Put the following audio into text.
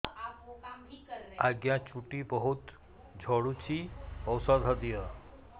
ଆଜ୍ଞା ଚୁଟି ବହୁତ୍ ଝଡୁଚି ଔଷଧ ଦିଅ